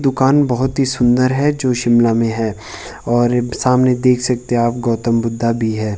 दुकान बहोत ही सुंदर है जो शिमला में है। और सामने देख सकते है आप गौतम बुद्ध भी है।